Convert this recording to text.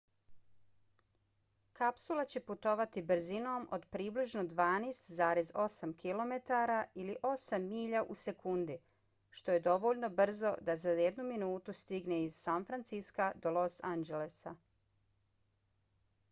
kapsula će putovati brzinom od približno 12,8 km ili 8 milja u sekundi što je dovoljno brzo da za jednu minutu stigne iz san francisca do los angelesa